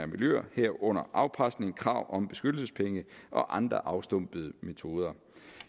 miljøer herunder afpresning krav om beskyttelsespenge og andre afstumpede metoder